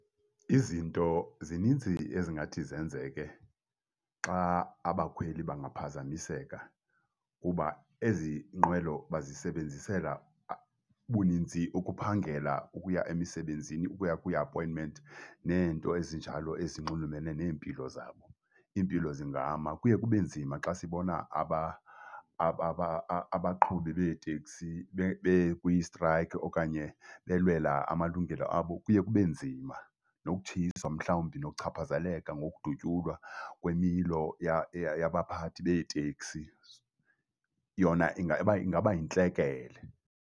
Izinto zininzi ezingathi zenzeke xa abakhweli bangaphazamiseka kuba ezi nqwelo bazisebenzisela buninzi ukuphangela, ukuya emisebenzini, ukuya kwii-appointment, neento ezinjalo ezinxulumene neempilo zabo. Iimpilo zingama. Kuye kube nzima xa sibona abaqhubi beeteksi bekwistrayikhi okanye belwela amalungelo abo. Kuye kube nzima nokutshiswa mhlawumbi, nokuchaphazeleka ngokudutyulwa kwemilo yabaphathi beeteksi. Yona ingaba yintlekele.